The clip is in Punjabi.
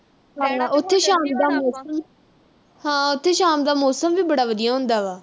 ਉਥੇ ਸ਼ਾਮ ਦਾ ਮੌਸਮ, ਹਾਂ ਉਥੇ ਸ਼ਾਮ ਦਾ ਮੌਸਮ ਵੀ ਬੜਾ ਵਧੀਆ ਹੁੰਦਾ ਵਾ।